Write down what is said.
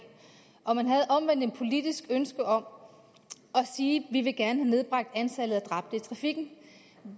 og man havde omvendt et politisk ønske om at sige vi vil gerne have nedbragt antallet af dræbte i trafikken